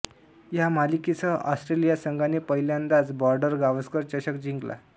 ह्या मालिकेसह ऑस्ट्रेलिया संघाने पहिल्यांदाच बॉर्डरगावस्कर चषक जिंकला